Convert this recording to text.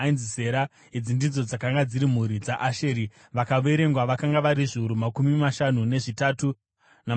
Idzi ndidzo dzakanga dziri mhuri dzaAsheri; vakaverengwa vakanga vari zviuru makumi mashanu nezvitatu, namazana mana.